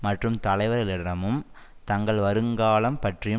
மற்றும் தலைவர்களிடமும் தங்கள் வருங்காலம் பற்றியும்